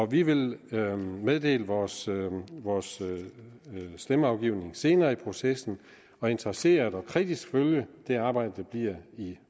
vi vil meddele vores vores stemmeafgivning senere i processen og interesseret og kritisk følge det arbejde der bliver i